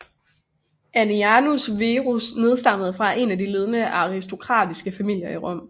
Annianus Verus nedstammende fra en af de ledende aristokratiske familier i Rom